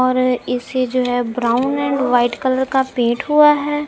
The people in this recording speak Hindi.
और इसे जो है ब्राउन एंड व्हाइट कलर का पेट हुआ है।